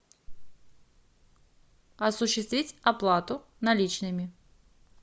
осуществить оплату наличными